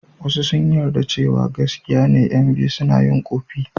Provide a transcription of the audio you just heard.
Wasu sun yarda cewa gaskiya ne ƴan biyu suna yin ƙofi.